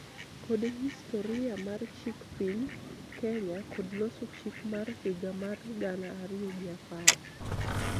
kod historia mar chik piny Kenya kod loso chik mar higa mar gana ariyo gi apar.